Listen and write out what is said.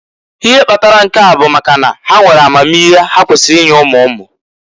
Ihe kpatara nke a bụ maka na ha nwere amamihe ha kwesiri inye umu umu.